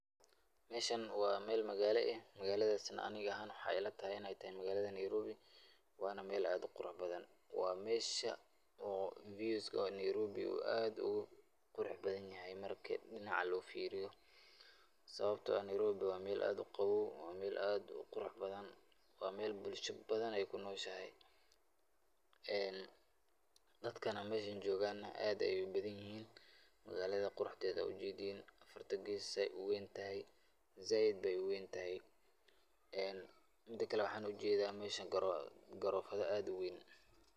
Meeshan waa meel magaala ah, magaladaas ani ahaan waxeey ila tahay inaay tahay magaalada Nairobi, waana meel aad uqurux badan, waa meesha oo [views]ka Nairobi oo aad Ugu qurux badan yahay, marki dinac loo fiiriyo, sababta oo ah Nairobi waa meel aad uqaboow, waa meel aad uqurux badan, waa meel bulsha badan aay kunoshahay, dadka meeshan joogan na aad ayeey ubadan yihiin, magaalada quruxdeeda waa ujeedin, saay uweyn tahay, sait ayeey uweyn tahay, mida kale waxaan ujeeda meesha garoofada aad uweyn.